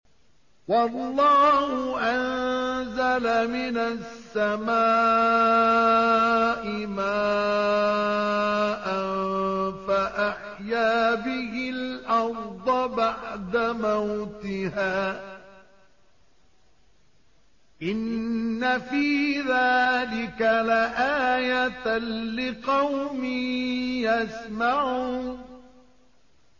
وَاللَّهُ أَنزَلَ مِنَ السَّمَاءِ مَاءً فَأَحْيَا بِهِ الْأَرْضَ بَعْدَ مَوْتِهَا ۚ إِنَّ فِي ذَٰلِكَ لَآيَةً لِّقَوْمٍ يَسْمَعُونَ